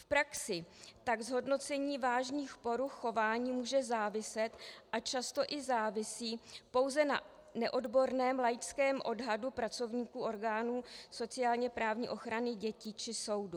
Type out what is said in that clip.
V praxi tak zhodnocení vážných poruch chování může záviset, a často i závisí, pouze na neodborném laickém odhadu pracovníků orgánů sociálně-právní ochrany dětí či soudu.